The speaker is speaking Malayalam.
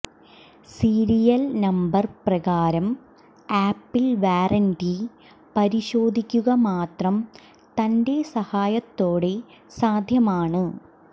സീരിയൽ നമ്പർ പ്രകാരം ആപ്പിൾ വാറന്റി പരിശോധിക്കുക മാത്രം തന്റെ സഹായത്തോടെ സാധ്യമാണ്